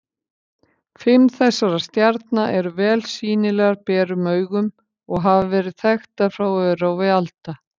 Fimm þessara stjarna eru vel sýnilegar berum augum og hafa verið þekktar frá örófi alda.